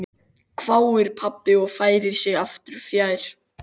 hváir pabbi og færir sig aftur fjær.